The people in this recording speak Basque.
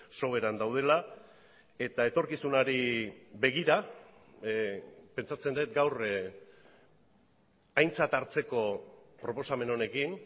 soberan daudela eta etorkizunari begira pentsatzen dut gaur aintzat hartzeko proposamen honekin